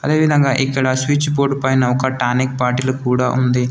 అదేవిధంగా ఇక్కడ switch board పైన ఒక టానిక్ బాటిలు కూడా ఉంది.